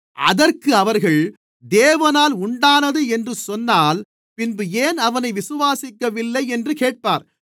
அதற்கு அவர்கள் தேவனால் உண்டானது என்று சொன்னால் பின்பு ஏன் அவனை விசுவாசிக்கவில்லை என்று கேட்பார்